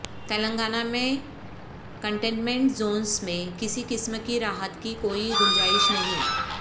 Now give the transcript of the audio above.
تلنگانہ میں containment zones میں کسی قسم کی راحت کی کوئی گنجائش نہیں